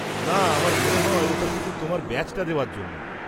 না, আমার মনে হয় ওটা শুধু তোমার ব্যাজটা দেওয়ার জন্য।